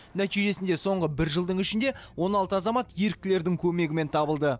нәтижесінде соңғы бір жылдың ішінде он алты азамат еріктілердің көмегімен табылды